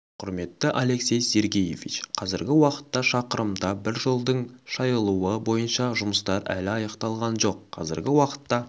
құрметті алексей сергеевич қазіргі уақытта шақырымда бір жолдың шайылуы бойынша жұмыстар әлі аяқталған жоқ қазіргі уақытта